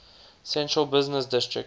central business district